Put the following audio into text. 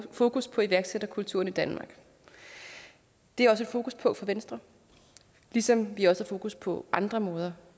fokus på iværksætterkulturen i danmark det er også et fokuspunkt for venstre ligesom vi også har fokus på andre måder